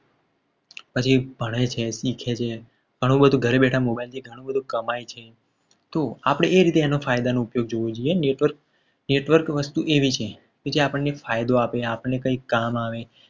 પછી ભણે છે શીખે છે. ઘણું બધું ગળે બેઠા network થી ઘણું બધું કમાય છે. તો આપણે એ રીતે એના ફાયદાનો ઉપયોગ જોવો જોઈએ. network network વસ્તુ એવી છે. કે જે આપણને ફાયદો આપે છે. આપણને કંઈ કામ આવે.